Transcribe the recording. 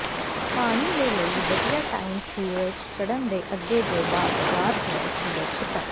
ਪਾਣੀ ਦੇ ਲਈ ਵਧੀਆ ਟਾਈਮ ਸੂਰਜ ਚੜ੍ਹਨ ਦੇ ਅੱਗੇ ਜ ਬਾਅਦ ਵਾਰ ਹੈ ਸੂਰਜ ਛਿਪਣ